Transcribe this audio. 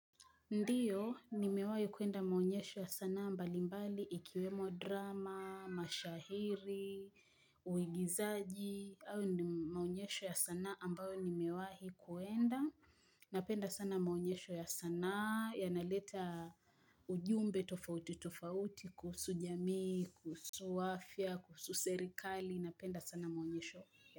Ndiyo, ni mewahi kuenda maonyesho ya sanaa mbali mbali, ikiwemo drama, mashahiri, uigizaji, au ni maonyesho ya sana ambayo nimewahi kuenda. Napenda sana maonyesho ya sana, yanaleta ujumbe, tufauti, tufauti, kuhusu jamii, kuhusu wafia, kuhusu serikali, napenda sana maonyesho ya.